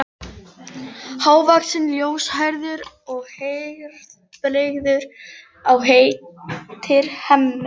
Hávaxinn, ljóshærður og herðabreiður og heitir Hemmi.